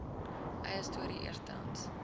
eie storie eerstehands